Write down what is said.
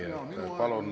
Aitäh!